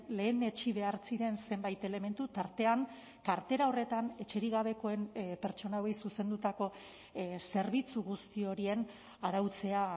lehenetsi behar ziren zenbait elementu tartean kartera horretan etxerik gabekoen pertsona hauei zuzendutako zerbitzu guzti horien arautzea